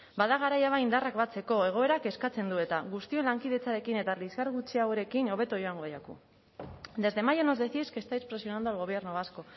bada garaia ba indarrak batzeko egoerak eskatzen du eta guztion lankidetzarekin eta liskar gutxiagorekin hobeto joango zaigu desde mayo nos decís que estáis presionando al gobierno vasco